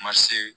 Ma se